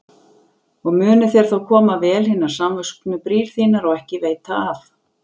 Og munu þér þá koma vel hinar samvöxnu brýr þínar og ekki af veita.